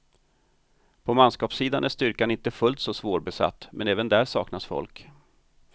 På manskapssidan är styrkan inte fullt så svårbesatt, men även där saknas folk.